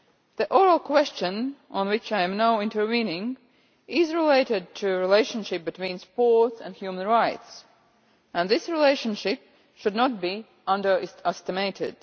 The oral question on which I am now intervening is related to the relationship between sport and human rights, and this relationship should not be underestimated.